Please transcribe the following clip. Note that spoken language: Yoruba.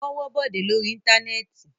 Wọ́n wọ́ Bọ̀dé lórí Íńtánẹ́ẹ̀tì.